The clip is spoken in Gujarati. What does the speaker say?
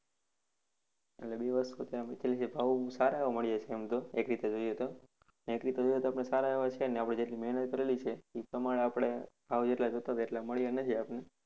એટલે બે વસ્તુ ત્યાં થઇ છે. ભાવ સારા એવા મળ્યા છે આમ તો એક રીતે જોઈએ તો અને એક રીતે જોઇએ તો આપણે સારા એવા છે નહિ આપણે જેટલી મેહનત કરેલી છે એ પ્રમાણે આપણે ભાવ એટલા લગભગ એટલા મળ્યા નથી.